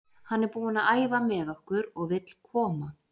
Hann er búinn að æfa með okkur og vill koma.